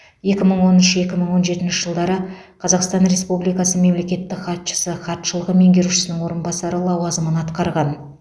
екі мың он үш екі мың он жетінші жылдары қазақстан республикасы мемлекеттік хатшысы хатшылығы меңгерушісінің орынбасары лауазымын атқарған